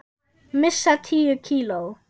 Missa tíu kíló.